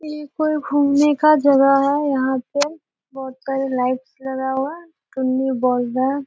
ये कोई घूमने का जगा है। यहाँ पे बहुत सारे लाइटस लगा हुआ है --]